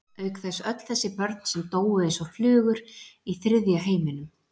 Auk þess öll þessi börn sem dóu eins og flugur í þriðja heiminum.